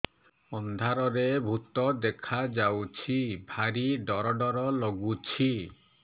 ଅନ୍ଧାରରେ ଭୂତ ଦେଖା ଯାଉଛି ଭାରି ଡର ଡର ଲଗୁଛି